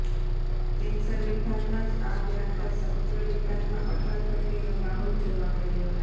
cancer વિભાગમાં જ આગ લાગતા સમગ્ર વિભાગમાં અફરા તફરીનો માહોલ જોવા મળ્યો